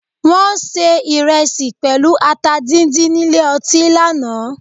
Wọ́n ṣe ìrẹsì pẹ̀lú ata díndín nílé ọtí lánàá